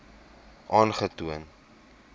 aangetoon